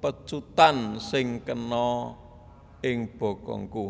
pecutan sing kena ing bokongku